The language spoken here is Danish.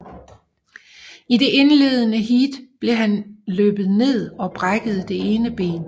I det indledende heat blev han løbet ned og brækkede det ene ben